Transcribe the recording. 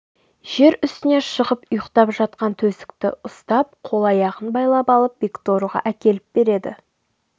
жер үстіне шығып ұйықтап жатқан төстікті ұстап қол-аяғын байлап алып бекторыға әкеліп береді